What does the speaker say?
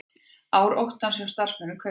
Ár óttans hjá starfsmönnum Kaupþings